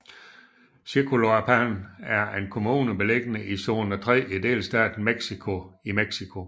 Chicoloapan er en kommune beliggende i zone III i delstaten Mexico i Mexico